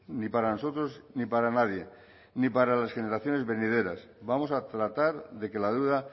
ni para nosotros ni para nadie ni para las generaciones venideras vamos a tratar de que la deuda